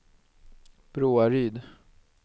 Broaryd